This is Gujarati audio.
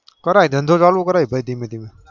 કરાય ભાઈ ધંધો ચાલુ કરાય ભાઈ ધીમે ધીમે